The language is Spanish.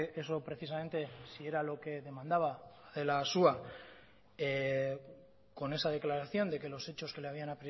eso precisamente si era lo que demandaba adela asúa con esa declaración de que los hechos que le habían